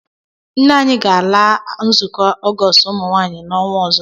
Nne anyị ga-ala nzukọ Ọgọọst ụmụnwaanyị n'ọnwa ọzọ.